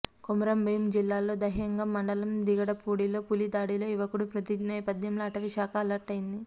కొమురం భీం జిల్లాలోని దహేగం మండలం దిగడలో పులి దాడిలో యువకుడు మృతి నేపథ్యంలో అటవీశాఖ అలర్ట్ అయ్యింది